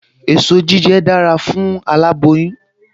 Èso jíjẹ dára fún aláboyún